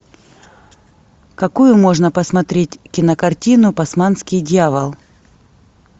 какую можно посмотреть кинокартину тасманский дьявол